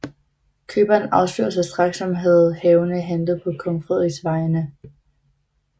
Køberen afslørede sig straks som havende handlet på kong Frederiks vegne